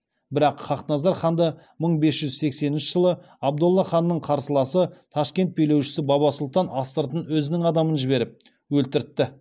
бірақ хақназар ханды мың бес жүз сексенінші жылы абдолла ханның қарсыласы ташкент билеушісі баба сұлтан астыртын өзінің адамын жіберіп өлтіртті